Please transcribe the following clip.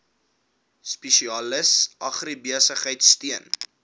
spesialis agribesigheid steun